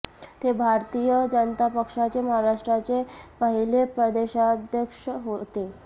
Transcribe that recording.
ते भारतीय जनता पक्षाचे महाराष्ट्राचे पहिले प्रदेशाध्यक्ष होते